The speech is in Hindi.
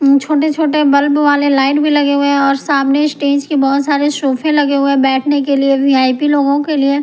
छोटे-छोटे बल्ब वाले लाइट भी लगे हुए हैं और सामने स्टेज के बहुत सारे सोफे लगे हुए हैंबैठने के लिए वीआईपी लोगों के लिए।